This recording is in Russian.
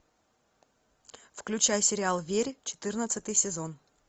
включай сериал верь четырнадцатый сезон